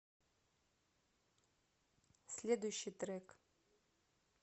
следующий трек